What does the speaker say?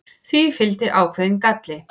því fylgdi ákveðinn galli